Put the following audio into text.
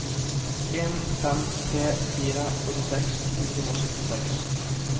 en fem tre fire åttiseks fire hundre og syttiseks